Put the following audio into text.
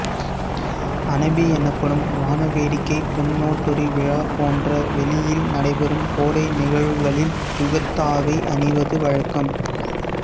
அனபி எனப்படும் வாணவேடிக்கை பொன்ஒடோரி விழா போன்ற வெளியில் நடைபெறும் கோடை நிகழ்வுகளில் யுகத்தாவை அணிவது வழக்கம்